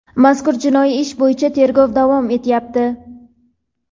mazkur jinoiy ish bo‘yicha tergov davom etyapti.